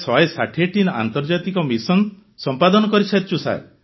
ପ୍ରାୟ 160ଟି ଆନ୍ତର୍ଜାତିକ ମିସନ ସମ୍ପାଦନ କରିସାରିଛୁ